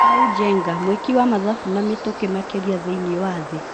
Kamau Njenga:Mwĩki wa mathabu na mĩtũkĩ makĩria thĩiniĩ wa thĩ.